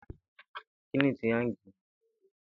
Ìkun-ètè ni wọ́n ma ń lò kì ètè le màa dàn.